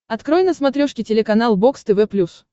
открой на смотрешке телеканал бокс тв плюс